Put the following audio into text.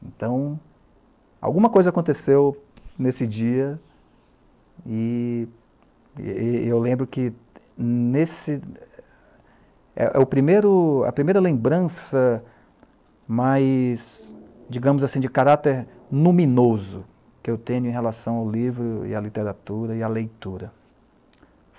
Então, alguma coisa aconteceu nesse dia, e eu lembro que é a primeira lembrança mais, digamos assim, de caráter luminoso que eu tenho em relação ao livro e à literatura e à leitura.